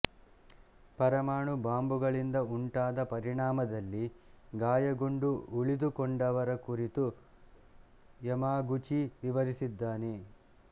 ಪರಮಾಣು ಬಾಂಬುಗಳಿಂದ ಉಂಟಾದ ಪರಿಣಾಮದಲ್ಲಿ ಗಾಯಗೊಂಡು ಉಳಿದುಕೊಂಡವರ ಕುರಿತು ಯಮಾಗುಚಿ ವಿವರಿಸಿದ್ದಾನೆ